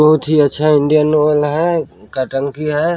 --बहुत ही अच्छा इंडियन आय़ल है का टंकी है।